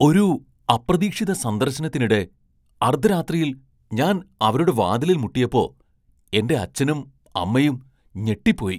ഒരു അപ്രതീക്ഷിത സന്ദർശനത്തിനിടെ അർദ്ധരാത്രിയിൽ ഞാൻ അവരുടെ വാതിലിൽ മുട്ടിയപ്പോ എന്റെ അച്ഛനും, അമ്മയും ഞെട്ടിപ്പോയി.